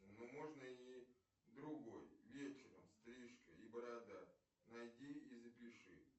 ну можно и другой вечером стрижка и борода найди и запиши